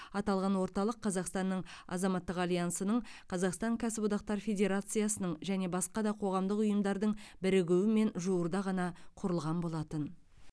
аталған орталық қазақстанның азаматтық альянсының қазақстан кәсіподақтар федерациясының және басқа да қоғамдық ұйымдардың бірігуімен жуырда ғана құрылған болатын